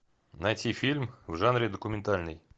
найти фильм в жанре документальный